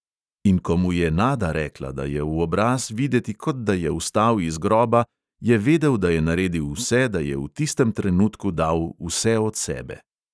In ko mu je nada rekla, da je v obraz videti, kot da je vstal iz groba, je vedel, da je naredil vse, da je v tistem trenutku dal vse od sebe.